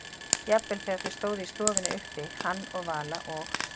Jafnvel þegar þau stóðu í stofunni uppi, hann og Vala, og